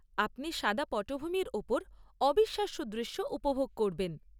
আপনি সাদা পটভূমির ওপর অবিশ্বাস্য দৃশ্য উপভোগ করবেন।